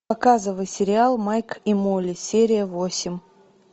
показывай сериал майк и молли серия восемь